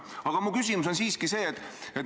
Aga mu küsimus on see.